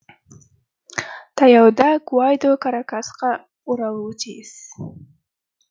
таяуда гуайдо каракасқа оралуы тиіс